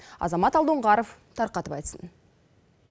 азамат алдоңғаров тарқатып айтсын